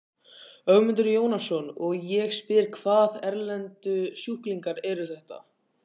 Ögmundur Jónasson: Og ég spyr, hvaða erlendu sjúklingar eru þetta?